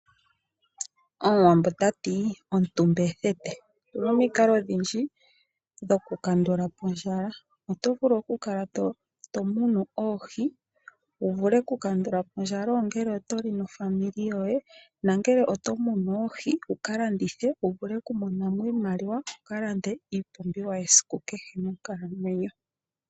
Omuwambo tati omutumba ethete, opuna omiinkalo odhindji dho kukandula Po ondjala, oto vulu okukala tomunu oohii wuvule oku kandula po ondjala ongele otoli nofamili yoye nangele oto munu oohii wuvule wukalandithe wuvule oku monamo iimaliwa wukalande iipumbiwa yesiku kehe monkalamwenyo.